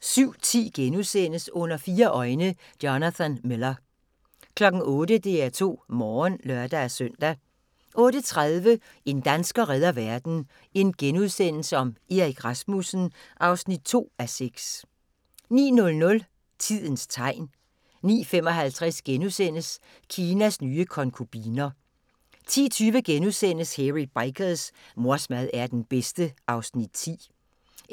07:10: Under fire øjne – Jonathan Miller * 08:00: DR2 Morgen (lør-søn) 08:30: En dansker redder verden – Erik Rasmussen (2:6)* 09:00: Tidens tegn 09:55: Kinas nye konkubiner * 10:20: Hairy Bikers: Mors mad er den bedste (Afs. 10)* 11:20: